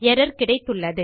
error கிடைத்துள்ளது